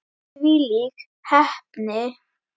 Þvílík heppni!